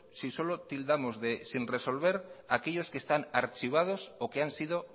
si solo tildamos de sin resolver aquellos que están archivados o que han sido